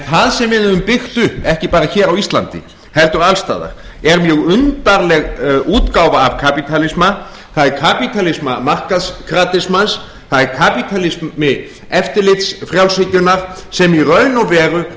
það sem við höfum byggt upp ekki bara hér á íslandi heldur alls staðar er mjög undarleg útgáfa af kapítalisma það er kapítalismi markaðskratismans það er kapítalismi eftirlitsfrjálshyggjunnar sem í raun og veru